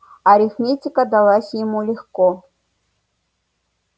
арифметика далась ему легко